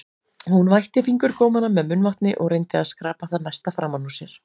Hún vætti fingurgómana með munnvatni og reyndi að skrapa það mesta framan úr sér.